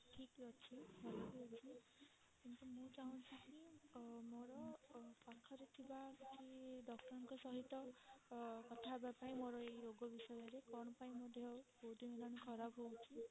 ଠିକ ଅଛି ଭଲ ବି ଅଛି କିନ୍ତୁ ମୁଁ ଚାହୁଁଛି କି ମୋର ପାଖରେ ଥିବା କିଛି doctor ଙ୍କ ସହିତ ଅ କଥା ହବା ପାଇଁ ମୋର ଏଇ ରୋଗ ବିଷୟରେ କଣ ପାଇଁ ମୋ ଦେହ ବହୁତ ଦିନ ହେଲାଣି ଖରାପ ହଉଛି